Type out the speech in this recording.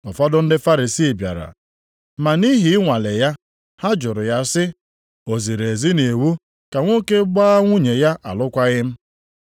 Ụfọdụ ndị Farisii bịara, ma nʼihi ị nwalee ya, ha jụrụ ya sị, “O ziri ezi nʼiwu ka nwoke gbaa nwunye ya alụkwaghị m?”